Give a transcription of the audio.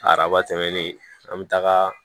Araba tɛmɛnen an bɛ taga